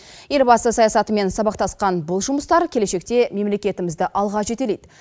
елбасы саясатымен сабақтасқан бұл жұмыстар келешекте мемлекетімізді алға жетелейді